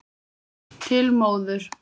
Til móður.